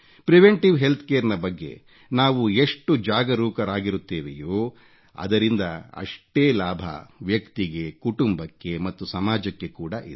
preventive healthcare ನ ಬಗ್ಗೆ ನಾವು ಎಷ್ಟು ಜಾಗರೂಕರಾಗಿರುತ್ತೇವೆಯೋ ಅದರಿಂದ ಅಷ್ಟೇ ಲಾಭ ವ್ಯಕ್ತಿಗೆ ಕುಟುಂಬಕ್ಕೆ ಮತ್ತು ಸಮಾಜಕ್ಕೆ ಕೂಡ ಇದೆ